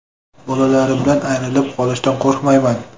Bolalarimdan ayrilib qolishdan qo‘ryapman.